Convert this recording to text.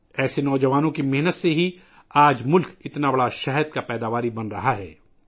ایسے نوجوانوں کی محنت کی وجہ سے آج ملک اتنا بڑا شہد پیدا کرنے والا ملک بن رہا ہے